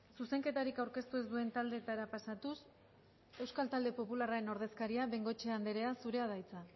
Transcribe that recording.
zuzenketarik aurkeztu ez duen taldeetara pasatuz euskal talde popularraren ordezkaria bengoechea andrea zurea da hitza